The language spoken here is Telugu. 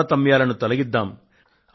తారతమ్యాలను తొలగిద్దాము